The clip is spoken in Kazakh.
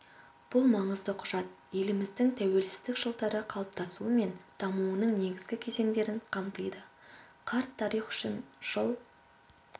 бұл маңызды құжат еліміздің тәуелсіздік жылдары қалыптасуы мен дамуының негізгі кезеңдерін қамтиды қарт тарих үшін жыл